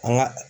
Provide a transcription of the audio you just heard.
An ga